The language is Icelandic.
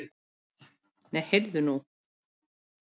Nei, heyrðu nú!